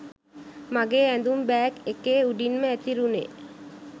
මගේ ඇඳුම් බෑග් එකේ උඩින්ම ඇතිරුණේ